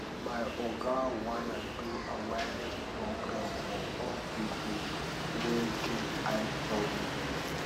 my oga wan do awareness program for old people wey get eye problem